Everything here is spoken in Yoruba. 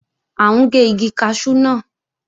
À ń gé igi kaṣú náà